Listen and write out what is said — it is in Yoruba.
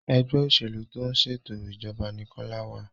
Ẹgbẹ́ òṣèlú tó ń ṣètò ìjọba ní Kola wá